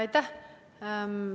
Aitäh!